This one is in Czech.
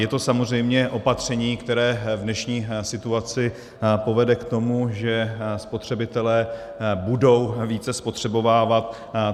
Je to samozřejmě opatření, které v dnešní situaci povede k tomu, že spotřebitelé budou více spotřebovávat.